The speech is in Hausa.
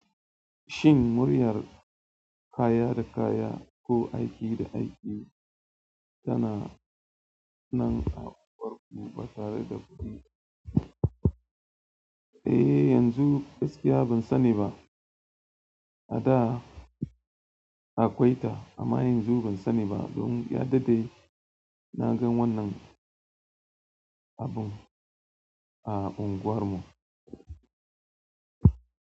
Shin muryar kaya da kaya ko aiki da aiki tana nan a unguwarku ba tare da kuɗi? Eh, yanzu gaskiya ban sani ba. A da akwai ta amma yanzu ban sani ba. Don ya daɗe na gan wannan abun a unguwarmu.